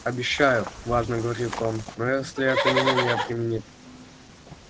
обещаю важно говорит он но если это меня не обеременит